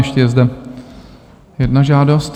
Ještě je zde jedna žádost.